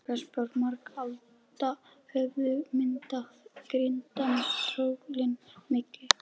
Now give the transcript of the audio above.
Fótspor margra alda höfðu myndað grýttan troðning milli